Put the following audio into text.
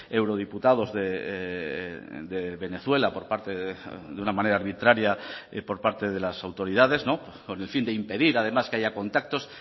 eurodiputados de venezuela por parte de una manera arbitraria por parte de las autoridades con el fin de impedir además que haya contactos